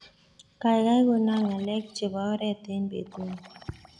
Gaigai konan ngaleek chebo oret en betuni